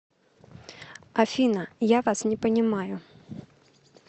афина я вас не понимаю